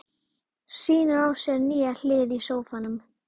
Hvernig getur maður þá sjálfur ráðið gjörðum sínum?